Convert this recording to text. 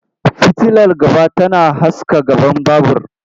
Fitilar gaba tana haska gaban babur.